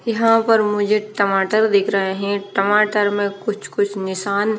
यहां पर मुझे टमाटर दिख रहे हैं टमाटर में कुछ कुछ निशान--